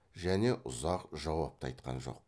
және ұзақ жауап та айтқан жоқ